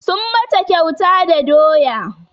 Sun mata kyauta da doya